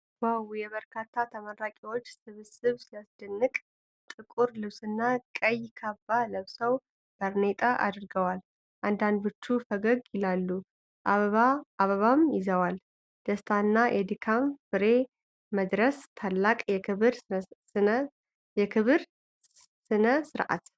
ዋው! የበርካታ ተመራቂዎች ስብስብ ሲያስደንቅ! ጥቁር ልብስና ቀይ ካባ ለብሰው ባርኔጣ አድርገዋል። አንዳንዶቹ ፈገግ ይላሉ አበባም ይዘዋል። ደስታና የድካም ፍሬ መድረስ። ታላቅ የክብር ሥነ ሥርዓት።